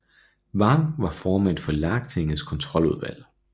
Vang var formand for Lagtingets kontroludvalg